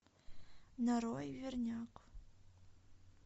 нарой верняк